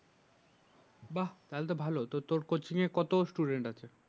বাহ্ তাইলে তো ভালো তোর কোচিং এ কতজন আছে?